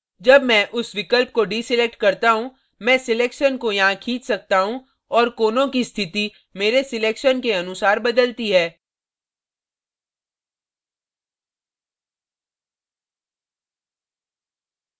जब मैं उस विकल्प को deselect करता हूँ मैं selection को यहाँ खींच सकता हूँ और कोनों की स्थिति मेरे selection के अनुसार बदलती है